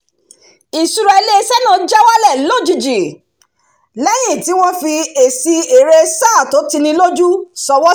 ìṣúra ilé-iṣẹ́ náà já wálẹ̀ lójijì lẹ́yìn tí wọ́n fi èsì èrè sáà tó tini lójú sọwọ́ síta